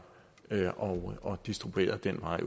og distribueret ad den vej